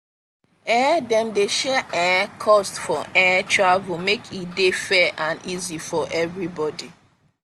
um dem dey share um cost for um travel make e dey fair and easy for everybody.